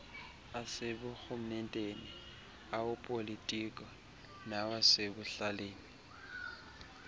aseburhumenteni awopolitiko nawasekuhlaleni